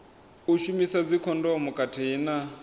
u shumisa dzikhondomu khathihi na